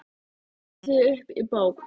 Ég fletti því upp í bók.